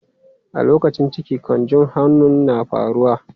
A lokacin ciki, canjon homon na faruwa.